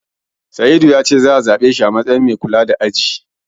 Sa'idu ya ce za'a zabe shi a matsayin mai kula da aji.